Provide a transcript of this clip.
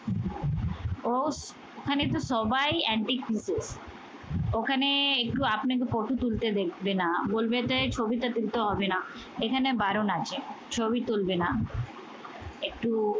অস ওখানে তো সবাই antique pieces ওখানে একটু আপনাকে ফটো তুলতে দেখবে না বলবে যে ছবিটা তুলতে হবে না। এখানে বারণ আছে, ছবি তুলবে না। একটু